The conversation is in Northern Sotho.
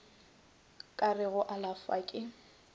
ka re go alafša ke